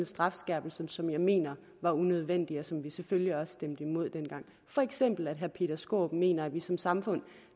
strafskærpelser som jeg mener var unødvendige og som vi selvfølgelig også stemte imod dengang for eksempel at herre peter skaarup mener at vi som samfund